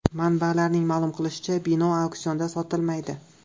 Manbalarning ma’lum qilishicha, bino auksionda sotilmaydi.